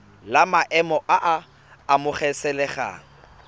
la maemo a a amogelesegang